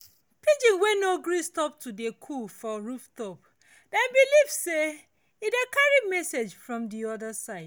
pigeon wey no gree stop to dey coo for rooftop dem believe say e dey carry message from the other side.